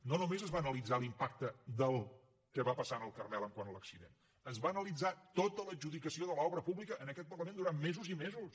no només es va analitzar l’impacte del que va passar en el carmel quant a l’accident es va analitzar tota l’adjudicació de l’obra pública en aquest parlament durant mesos i mesos